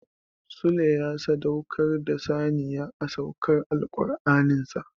Sule ya sadaukar da saniya a saukar Alkur'anin sa.